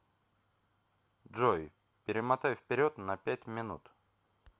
джой перемотай вперед на пять минут